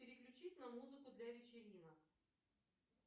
переключить на музыку для вечеринок